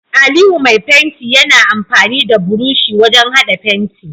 Aliyu Mai fenti Yana amfani da burushi wajan hada fenti